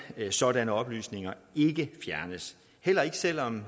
sådanne oplysninger ikke fjernes heller ikke selv om